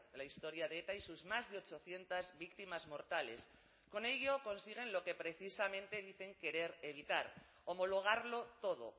la historia de eta y sus más de ochocientos víctimas mortales con ello consiguen lo que precisamente dicen querer evitar homologarlo todo